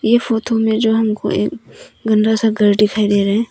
यह फोटो मे जो हमको एक गंदा सा घर दिखाई दे रहे हैं।